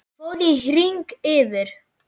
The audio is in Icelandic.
Hann fór í hring yfir